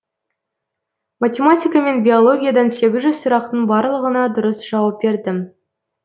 математика мен биологиядан сегіз жүз сұрақтың барлығына дұрыс жауап бердім